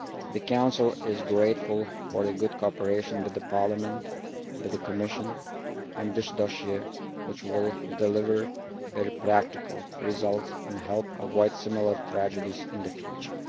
The Council is grateful for the good cooperation it has with Parliament and the Commission on this dossier, which will deliver very practical results and help avoid similar tragedies in the future.